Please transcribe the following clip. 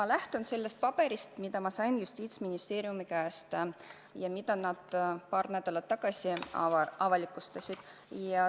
Ma lähtun sellest paberist, mille ma sain Justiitsministeeriumist ja mille nad paar nädalat tagasi avalikustasid.